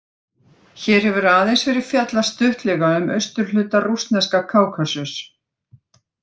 Hér hefur aðeins verið fjallað stuttlega um austurhluta rússneska Kákasus.